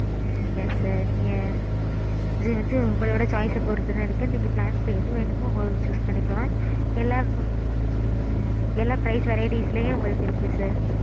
ம்ம் yes sir நீங்க இது வந்து உங்களோட choice அ பொறுத்து தான் இருக்கு நீங்க plans எது வேணுமோ உங்களுக்கு choose பன்னிக்கலாம். எல்லாம் ம்ம் எல்லா price varieties லேயும் உங்களுக்கு இருக்கு sir.